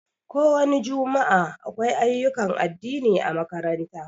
Ko wani jumua'a, akwai ayyukan addini ã makaranta.